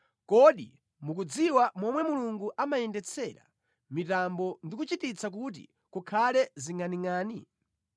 Kodi mukudziwa momwe Mulungu amayendetsera mitambo ndi kuchititsa kuti kukhale zingʼaningʼani?